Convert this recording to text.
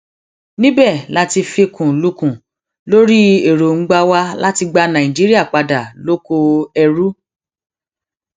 níbẹ la ti fikùn lukùn lórí èròńgbà wa láti gba nàìjíríà padà lóko ẹrú